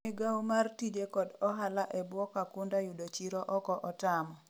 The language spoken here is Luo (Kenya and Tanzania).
migawo mar tije kod ohala e bwo Kakunda yudo chiro oko otamo